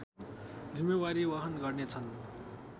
जिम्मेवारी वहन गर्नेछन्